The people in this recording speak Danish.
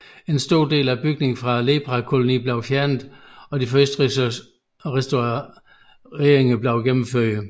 En stor del af bygningerne fra leprakolonien blev fjernet og de første restaureringer blev gennemført